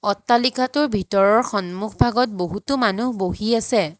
অট্টালিকাটোৰ ভিতৰৰ সন্মুখভাগত বহুতো মানুহ বহি আছে।